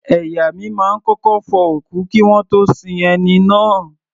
Ẹ̀yà mi máa ń kọ́kọ́ fọ òkú kí wọ́n tó sin ẹni náà.